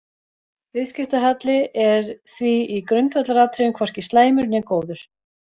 Viðskiptahalli er því í grundvallaratriðum hvorki slæmur né góður.